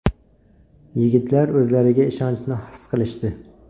Yigitlar o‘zlariga ishonchni his qilishdi.